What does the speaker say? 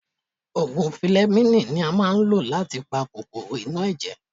Òògùn filẹmíìnì ni a máa ń lò láti pa kòkòrò inú ẹ̀jẹ̀.